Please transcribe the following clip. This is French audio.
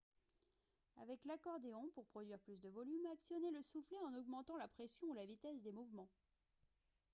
avec l'accordéon pour produire plus de volume actionnez le soufflet en augmentant la pression ou la vitesse des mouvements